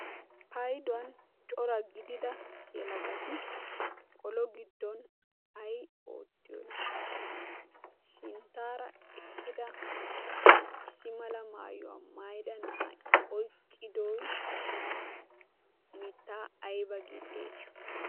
payduwan cora gidida yelagati kolo giddon ay oottiyoona sinttaara eqqida issi mala maayuwaa mayida na'ay oyqqidoi mittaa aybba gii xeesiyo